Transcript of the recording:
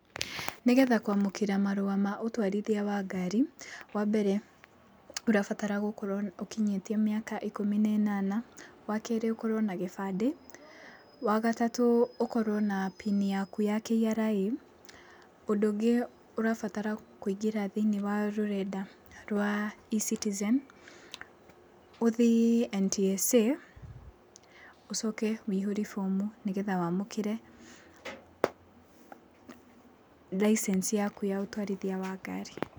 Nĩ getha kwamũkĩra marũa ma ũtwarithia wa ngari, wa mbere, ũrabatara gũkorwo ũkinyĩtie mĩaka ikũmi na ĩnana, wa kerĩ, ũkorwo na gĩbandĩ, wa gatatũ, ũkorwo na PIN yaku ya KRA.Ũndũ ũngĩ ũrabatara kũingĩra thĩiniĩ wa rũrenda rwa eCitizen, ũthiĩ NTSA, ũcoke wĩihũrie bomu nĩ getha wamũkĩre license yaku ya ũtwarithia wa ngari.